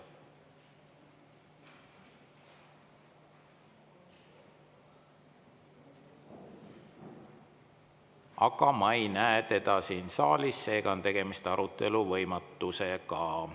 Aga ma ei näe teda siin saalis, seega on tegemist arutelu võimatusega.